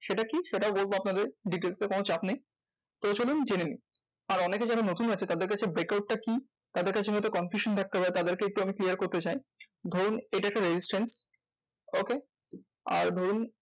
সেটা কি? সেটাও বলবো আপনাদের details এ কোনো চাপ নেই। তো চলুন জেনে নিই, আর অনেকে যারা নতুন আছে তাদের কাছে breakout টা কি? তাদের কাছে যাতে confusion থাকতে পারে তাদেরকে একটু আমি clear করতে চাই। ধরুন এটা একটা resistant okay? আর ধরুন